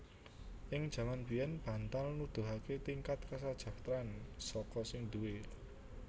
Ing jaman biyèn bantal nuduhaké tingkat kasajahtran saka sing duwé